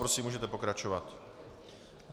Prosím, můžete pokračovat.